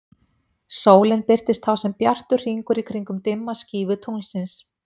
Sólin birtist þá sem bjartur hringur í kringum dimma skífu tunglsins.